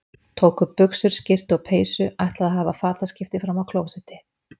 Tók upp buxur, skyrtu og peysu, ætlaði að hafa fataskipti frammi á klósetti.